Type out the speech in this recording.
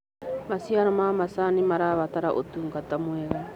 Macĩaro ma macanĩ marabata ũtũngata mwega